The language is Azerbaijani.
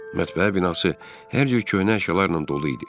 Mətbəə binası hər cür köhnə əşyalarla dolu idi.